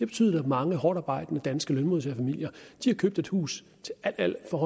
betydet at mange hårdtarbejdende danske lønmodtagerfamilier har købt et hus til alt alt for